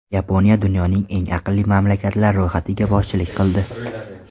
Yaponiya dunyoning eng aqlli mamlakatlar ro‘yxatiga boshchilik qildi.